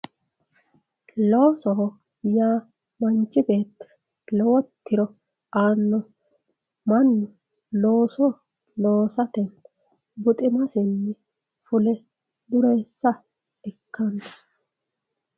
loosoho yaa manchi beetti lowo tiro aanno mannu looso loosatenni buxima hune dureessa ikkanno